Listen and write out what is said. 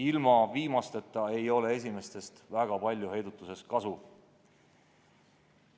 Ilma viimasteta ei ole esimestest väga palju heidutuses kasu.